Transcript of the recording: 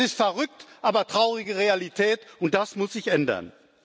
Das ist verrückt, aber traurige Realität, und das muss sich ändern.